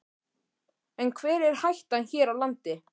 En hver er hættan hér á landi?